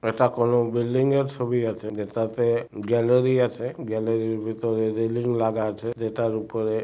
এটা কোন বিল্ডিং এর ছবি আছে যেটাতে গ্যালারি আছে গ্যালারির ভেতরে রেলিং লাগা আছে যেটার উপরে--